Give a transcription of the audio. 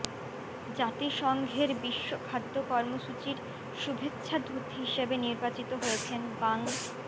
জাতিসংঘের বিশ্ব খাদ্য কর্মসূচির শুভেচ্ছাদূত হিসেবে নির্বাচিত হয়েছেন বাং